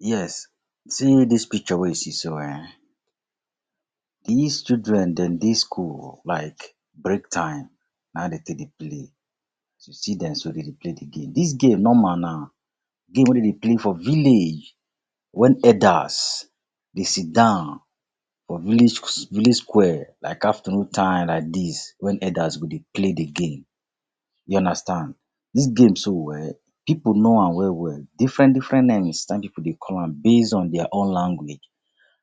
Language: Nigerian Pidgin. Yes, see dis picture wey you see so um, dis children dem dey school o, like break time na hin dem take dey play. As you see dem so dem dey play de game. Dis game normal na game wey dem dey play for village when elders dey sit down for village village square. Like afternoon time like dis when elders go dey play de game. You understand. Dis game so um pipu know am well well. Different different names na hin pipu dey call am based on their own language.